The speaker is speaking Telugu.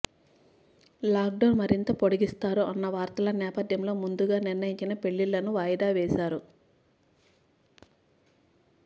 లాక్ డౌన్ మరింత పొడిగిస్తారు అన్న వార్తల నేపథ్యంలో ముందుగా నిర్ణయించిన పెళ్లిళ్లను వాయిదావేశారు